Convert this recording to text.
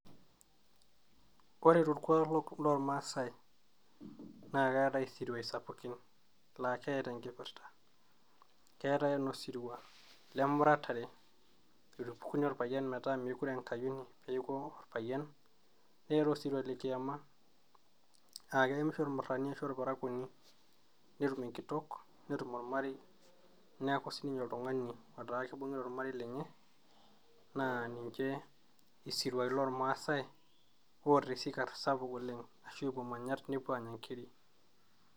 Woore tolkuaak loolmaasai naa ketaii isiruaii lsapukin laa ketaa enkipirta ,ketaii enosiruaa lemuratare itupukuni olpayian metaa mekure enkayioni peaku olapyian, netaii osiruaa lekiamaaa keemisho olmurani arashu olparakuoni netum enkitok netum olmarei neaku sininye kibungita olarei lenye naa ninye isiruaii lolmaasai otaa esikarr sapuk oleng arashu epuoo siruai aanya nkiri